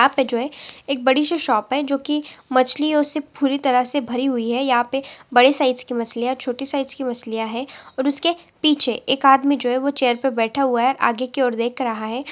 यहाँ पर जो है बड़ी सी शॉप है जो की माछीलयों से भरी हुई है यहाँ पे बड़े साइज़ की मछलीया है छोटे साइज़ की मछलीया है और उसके पीछे एक आदमी जो है चीर पे बैठा हुआ है आगे की और देख रहा है।